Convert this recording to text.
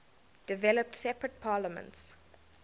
developed separate parliaments